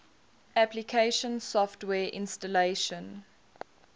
application software installation